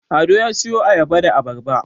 Ado ya siyo Ayaba da Abarba